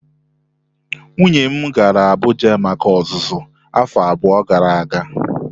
Nwunye m gara Abuja maka ọzụzụ afọ abụọ gara aga.